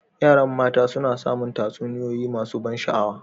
Yaran mata suna samun tatsuniyoyi masu ban sha'awa.